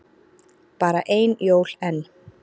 Bara ein jól enn.